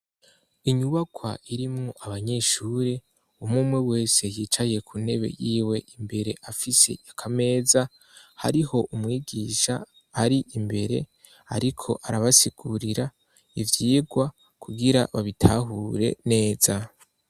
Inyubakwa irimwo abanyeshure umwumwe wese yicaye kuntebe yiwe imbere afise akameza hariho umwigisha ari imbere ariko arabasigurira ivyigwa kugira babitahure neza.